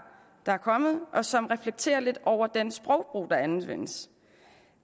der er kommet og som reflekterer lidt over den sprogbrug der anvendes